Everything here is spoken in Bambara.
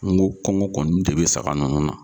N go kɔngɔ kɔni de be saga nunnu na